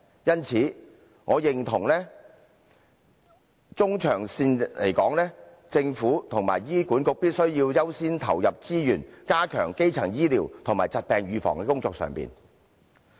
因此，我認同在中長線而言，政府和醫管局必須優先投放資源，加強基層醫療和疾病預防的工作。